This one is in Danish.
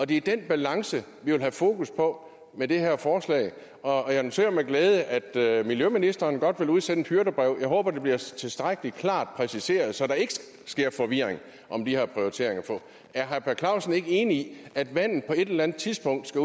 det er den balance vi vil have fokus på med det her forslag og jeg noterer med glæde at at miljøministeren godt vil udsende et hyrdebrev jeg håber det bliver tilstrækkelig klart præciseret så der ikke skabes forvirring om de her prioriteringer for er herre per clausen ikke enig at vandet på et eller andet tidspunkt skal